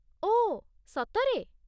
ଓଃ, ସତରେ?